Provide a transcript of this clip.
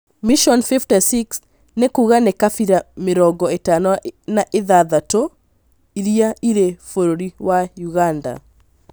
Mission 56 nĩkuga nĩ kabira mĩrongo ĩtano na ithathatũ iria irĩ bũrũri wa Ũganda